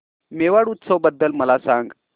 मेवाड उत्सव बद्दल मला सांग